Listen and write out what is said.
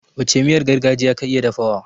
Wacce miyar gargajiya ka iya dafawa?